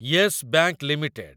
Yes Bank limited